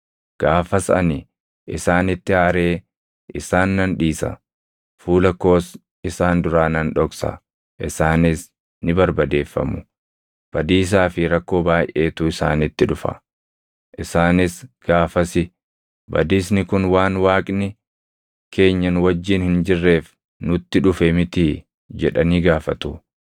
Gaafas ani isaanitti aaree isaan nan dhiisa; fuula koos isaan duraa nan dhoksa; isaanis ni barbadeeffamu. Badiisaa fi rakkoo baayʼeetu isaanitti dhufa; isaanis gaafasi, ‘Badiisni kun waan Waaqni keenya nu wajjin hin jirreef nutti dhufe mitii?’ jedhanii gaafatu.